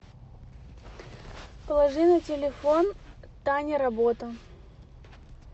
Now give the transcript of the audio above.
положи на телефон таня работа